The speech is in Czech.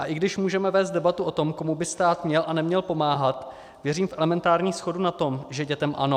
A i když můžeme vést debatu o tom, komu by stát měl a neměl pomáhat, věřím v elementární shodu na tom, že dětem ano.